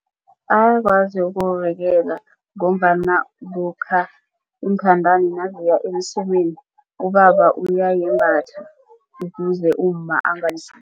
Ayakwazi ukuzivikela ngombana lokha iinthandani naziya emsemeni ubaba uyayembatha ukuze umma